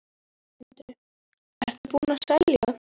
Sindri: Ertu búinn að selja?